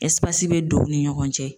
Ɛsipasi be don o ni ɲɔgɔn cɛ